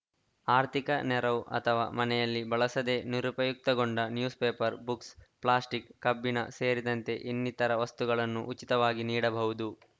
ಆರ್ಥಿಕ ನೆರವು ಅಥವಾ ಮನೆಯಲ್ಲಿ ಬಳಸದೆ ನಿರುಪಯುಕ್ತಗೊಂಡ ನ್ಯೂಸ್‌ ಪೇಪರ್‌ ಬುಕ್ಸ್‌ ಪ್ಲಾಸ್ಟಿಕ್‌ ಕಬ್ಬಿಣ ಸೇರಿದಂತೆ ಇನ್ನಿತರ ವಸ್ತುಗಳನ್ನು ಉಚಿತವಾಗಿ ನೀಡಬಹುದು